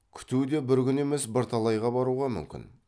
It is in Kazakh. күту де бір күн емес бірталайға баруға мүмкін